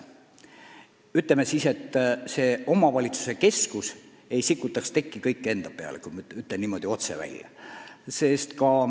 Ütleme nii, et omavalitsuse keskus ei või sikutada kogu tekki enda peale.